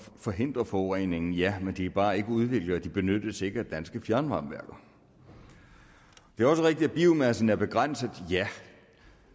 forhindre forureningen ja men de er bare ikke udviklet og benyttes ikke af danske fjernvarmeværker det er også rigtigt at biomassen er begrænset ja